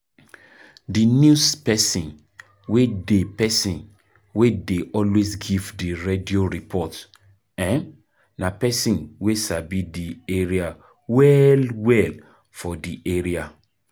Di news person wey dey person wey dey always give di radio report um na person wey sabi di road well well for di area